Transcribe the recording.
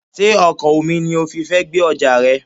Sé ọkọ̀ omi ni o fi fẹ́ gbé ọjà rẹ?